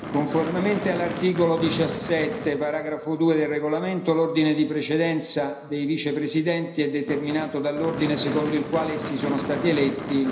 Conformemente all'articolo 17, paragrafo 2, del regolamento, l'ordine di precedenza dei Vicepresidenti è determinato dall'ordine secondo il quale essi sono stati eletti.